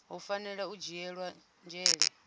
hu fanela u dzhielwa nzhele